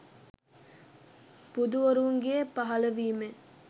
බුදුවරුන්ගේ පහළවීමෙන්